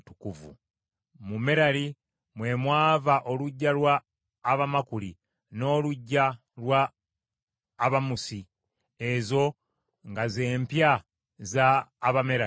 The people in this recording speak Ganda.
Mu Merali mwe mwava oluggya lwa Abamakuli n’oluggya lwa Abamusi; ezo nga ze mpya za Abamerali.